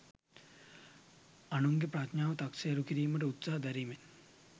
අනුන්ගේ ප්‍රඥාව තක්සේරු කිරීමට උත්සහ දැරීමෙන්